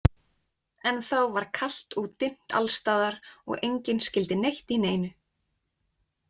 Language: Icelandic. Ennþá var kalt og dimmt allstaðar og enginn skyldi neitt í neinu.